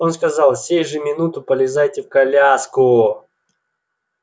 он сказал сей же минут полезайте в коляску